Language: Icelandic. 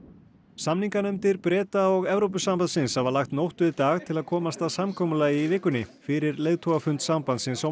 samninganefndir Breta og Evrópusambandsins hafa lagt nótt við dag til að komast að samkomulagi í vikunni fyrir leiðtogafund sambandsins á